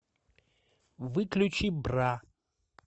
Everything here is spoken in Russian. выключи бра